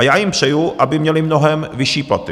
A já jim přeji, aby měli mnohem vyšší platy.